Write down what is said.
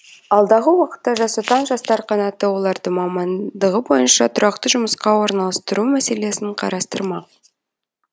алдағы уақытта жас отан жастар қанаты оларды мамандығы бойынша тұрақты жұмысқа орналастыру мәселесін қарастырмақ